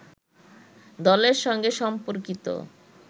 দলের সঙ্গে সম্পর্কিত